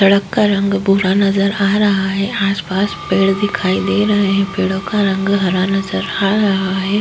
सड़क का रंग भूरा नजर आ रहा है। आस पास पेड़ दिखाई दे रहा है। पेड़ों का रंग हरा नजर आ रहा है।